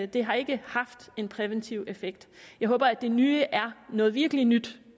det har ikke haft en præventiv effekt jeg håber at det nye er noget virkelig nyt